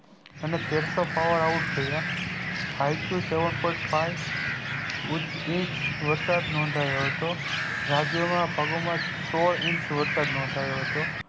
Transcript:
અને તેરસો power out થયા હાઇકુ seven point five એજ વરસાદ નોધાયો હતો રાજ્ય માં સૌ ઇંચ વરસાદ નોઘ્યો હતો